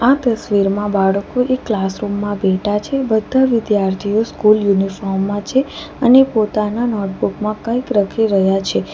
આ તસવીરમાં બાળકો એક ક્લાસરૂમ માં બેઠા છે બધા વિદ્યાર્થીઓ સ્કૂલ યુનિફોર્મ માં છે અને પોતાના નોટબુક માં કંઈક લખી રહ્યા છે.